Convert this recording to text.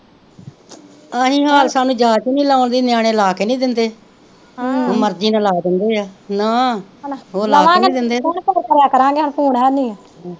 ਅਸੀ ਹਾਲ ਸਾਨੂੰ ਜਾਚ ਨਹੀਂ ਲਾਉਣ ਦੀ ਨਿਆਣੇ ਲਾ ਕੇ ਨਹੀਂ ਦਿੰਦੇ ਮਰਜ਼ੀ ਨਾ ਲਾ ਦਿੰਦੇ ਆ। ਨਾ ਉਹ ਲਾ ਕੇ ਨਹੀਂ ਦਿੰਦੇ ਤੇ